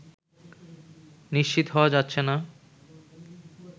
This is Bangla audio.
নিশ্চিত হওয়া যাচ্ছে না